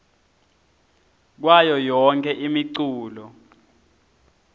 kwayo yonkhe imiculu